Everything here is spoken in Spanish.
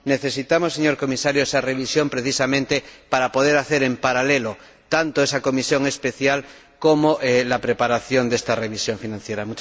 Necesitamos, señor Comisario, esa revisión precisamente para poder realizar en paralelo tanto esa comisión especial como la preparación de esta revisión financiera.